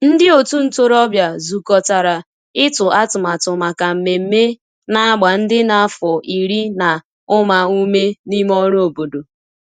ndi otu ntorobia zukotara itu atụmatụ maka mmeme na agba ndi n'afo iri na uma ume n'ime ọrụ obodo.